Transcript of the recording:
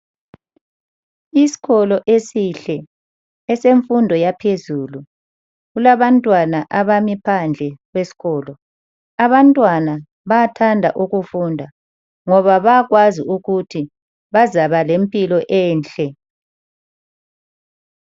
Isikolo esihle esemfundo yaphezulu kulabantwana abami phandle kwesikolo. Abantwana bathanda ukufunda ngoba bayakwazi ukuthi bazaba lempilo enhle.